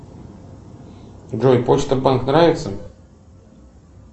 джой почта банк нравится